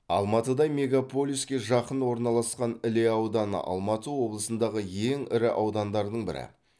алматыдай мегаполиске жақын орналасқан іле ауданы алматы облысындағы ең ірі аудандардың бірі